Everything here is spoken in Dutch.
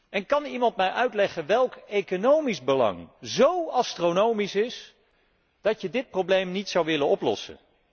En kan iemand mij uitleggen welk economisch belang zo astronomisch is, dat je dit probleem niet zou willen oplossen?